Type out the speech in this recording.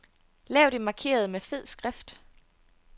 Lav det markerede med fed skrift.